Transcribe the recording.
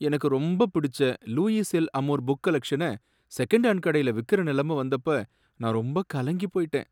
எனக்கு ரொம்ப பிடிச்ச லூயிஸ் எல்' அமோர் புக் கலெக்ஷனை செகண்ட் ஹேண்ட்கடையில விக்கிற நிலைமை வந்தப்ப நான் ரொம்ப கலங்கி போயிட்டேன்.